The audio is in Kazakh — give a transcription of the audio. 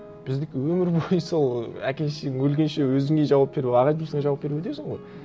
біздікі өмір бойы сол әке шешең өлгенше өзіңе жауап беру аға туысыңа жауап беріп өтесің ғой